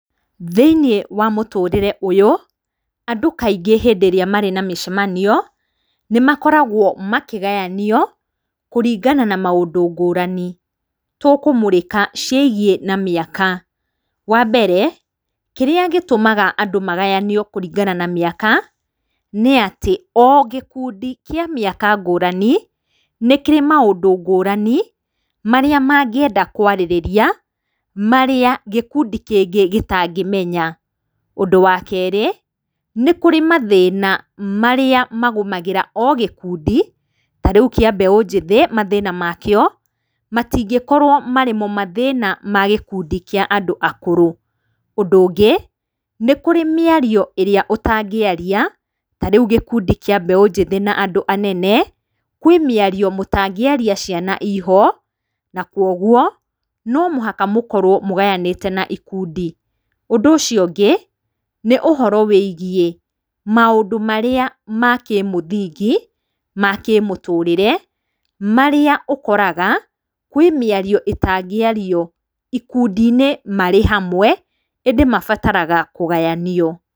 Thĩiniĩ wa mũtũrĩre ũyũ, andũ kaingĩ hĩndĩ ĩrĩa marĩ na mĩcamanio, nĩ makoragwo makĩgayanio kũringana na maũndũ ngũrani. Tũkũmũrĩka ciĩgiĩ na mĩaka, wa mbere, kĩrĩa gĩtũmaga andũ magayanio kũringana na mĩaka, nĩ atĩ, o gĩkundi kĩa mĩaka ngũrani, nĩ kĩrĩ maũndũ ngũrani marĩa mangĩenda kũarĩrĩa, marĩa gĩkundĩ kĩngĩ gĩtangĩmenya. Ũndũ wa kerĩ, nĩ kũrĩ mathĩna marĩa magũmagĩra o gĩkundi, ta rĩu kĩa mbeũ njĩthĩ mathĩna makĩo, matingĩkorwo marĩ mo mathĩna ma gĩkundi kĩa andũ akũrũ. Ũndũ ũngĩ, nĩ kũrĩ mĩario ĩrĩa ũtangĩaria, ta rĩũ gĩkundi kĩa mbeũ njĩthĩ na andũ anene, kwĩ mĩario mũtangĩaria ciana iho, na kũguo no mũhaka mũkorwo mũgayanĩte na ikundi. Ũndũ ũcio ũngĩ, nĩ ũhoro wĩgiĩ maũndu marĩa ma kĩmũthingi, ma kĩmũtũrĩre, marĩa ũkoraga kwĩ mĩario ĩtangĩario ikundi-inĩ marĩ hamwe, ĩndĩ mabataraga kũgayanio.